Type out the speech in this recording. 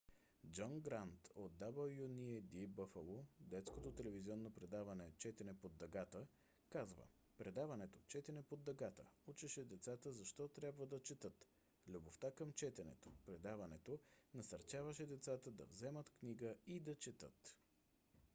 джон грант от wned buffalo детското телевизионно предаване четене под дъгата каза: предаването четене под дъгата учеше децата защо трябва да четат,... любовта към четенето – [предаването] насърчаваше децата да вземат книга и да четат.